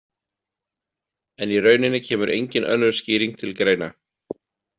En í rauninni kemur engin önnur skýring til greina.